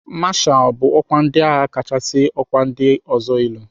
Mashalụ bụ ọkwa ndị agha kachasị ọkwa ndị ọzọ elu.